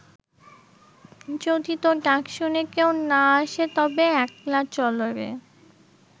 যদি তোর ডাক শুনে কেউ না আসে তবে একলা চলরে